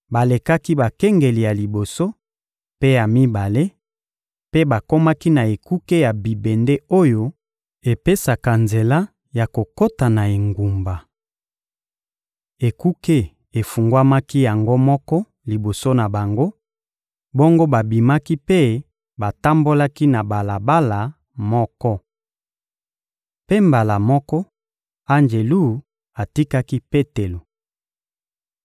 Balekaki bakengeli ya liboso mpe ya mibale, mpe bakomaki na ekuke ya bibende oyo epesaka nzela ya kokota na engumba. Ekuke efungwamaki yango moko liboso na bango; bongo babimaki mpe batambolaki na balabala moko. Mpe mbala moko, anjelu atikaki Petelo.